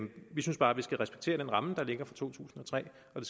vi synes bare at vi skal respektere den ramme der ligger fra to tusind og tre og